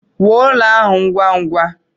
Wuo ụlọ ahụ ngwa ngwa!